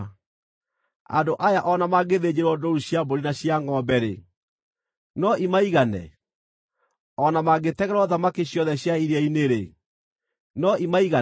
Andũ aya o na mangĩthĩnjĩrwo ndũũru cia mbũri na cia ngʼombe-rĩ, no imaigane? O na mangĩtegerwo thamaki ciothe cia iria-inĩ-rĩ, no imaigane?”